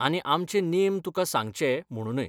आनी आमचे नेम तुकां सांगचे म्हणूनय.